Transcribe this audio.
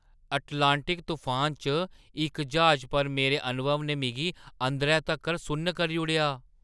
Atlantic तफानै च इक ज्हाजै पर मेरे अनुभव ने मिगी अंदरै तक्कर सुन्न करी ओड़ेआ!